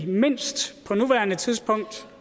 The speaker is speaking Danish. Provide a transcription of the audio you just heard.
mindst